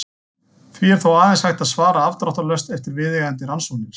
Því er þó aðeins hægt að svara afdráttarlaust eftir viðeigandi rannsóknir.